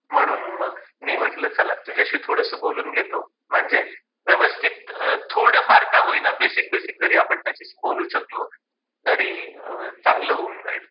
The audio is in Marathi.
म्हणून मग मी म्हटल चला तुझ्याशी थोडस बोलून घेतो, म्हणजे व्यवस्थित थोड फार का होईना, बेसिक बेसिक जरी आपण त्याच्याशी बोलू शकलो तरी चांगल होऊन जाईल.